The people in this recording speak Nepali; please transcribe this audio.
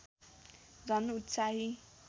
झन् उत्साही